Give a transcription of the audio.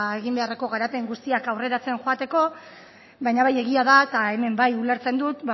egin beharreko garapen guztiak aurreratzen joateko baina bai egia da eta hemen bai ulertzen dut